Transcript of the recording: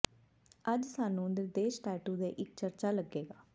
ਅੱਜ ਸਾਨੂੰ ਇਹ ਨਿਰਦੇਸ਼ ਟੈਟੂ ਦੇ ਇੱਕ ਚਰਚਾ ਲੱਗੇਗਾ